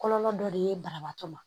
Kɔlɔlɔ dɔ de ye banabaatɔ ma